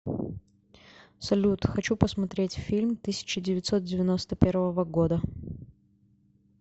салют хочу посмотреть фильм тысяча девятьсот девяносто первого года